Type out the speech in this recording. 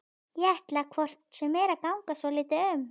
Ég ætla hvort sem er að ganga svolítið um.